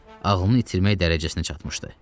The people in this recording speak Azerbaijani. Ağlını itirmək dərəcəsinə çatmışdı.